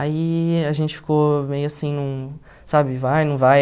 Aí a gente ficou meio assim num, sabe, vai, não vai.